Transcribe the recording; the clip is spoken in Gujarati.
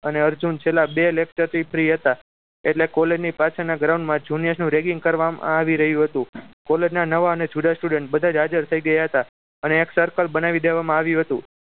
અને અર્જુન છેલ્લા બે lecture થી free હતા એટલે college ની પાછળના ground માં junior નું ragging કરવામાં આવી રહ્યું હતું college ના નવા અને જૂના student બધા જ હાજર થઈ ગયા હતા અને એક circle બનાવી દેવામાં આવ્યું હતું